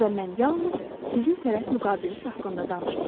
Burda mən yalnız sizin tərəf müqabiliniz haqqında danışmıram.